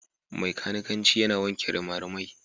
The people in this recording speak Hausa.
Mai kanikanci yana wanke rimarimai.